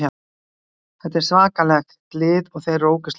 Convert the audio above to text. Þetta er svakalegt lið og þeir eru ógeðslega góðir.